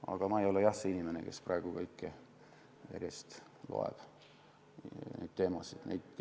Aga ma ei ole jah see inimene, kes järjest loeb neid teemasid üles.